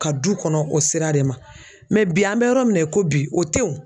Ka du kɔnɔ o sira de ma bi an bɛ yɔrɔ min na i ko bi o te wo.